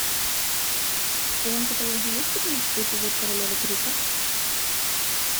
в твоем каталоге есть пятнадцатый эпизод королевы крика